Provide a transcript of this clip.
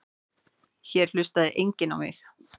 Hér hlustaði enginn á mig.